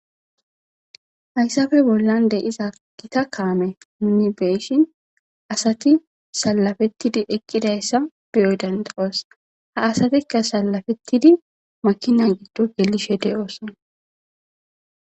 Hayssafe bollan de iza gita kaame nuni beeshin asati salafettidi eqqidayssa biyoy danda'os ha asatikka salafettidi makina giddo gelishe de'ooson.